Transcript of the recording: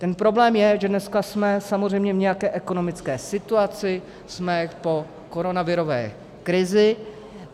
Ten problém je, že dneska jsme samozřejmě v nějaké ekonomické situaci, jsme po koronavirové krizi.